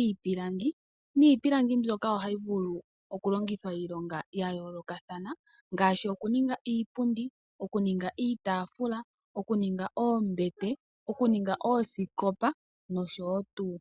iipilangi niipilangi mbyoka ohayi vulu okulongithwa iilonga ya yoolokathana ngaashi okuninga iipundi, okuninga iitafula, okuninga oombete nokuninga oosikopa nosho tuu.